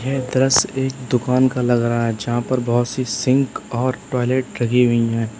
Entrance एक दुकान का लगा रहा है जहां पर बहुत सी सिंक और टॉयलेट लगी हुई है।